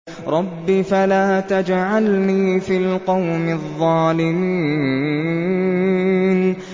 رَبِّ فَلَا تَجْعَلْنِي فِي الْقَوْمِ الظَّالِمِينَ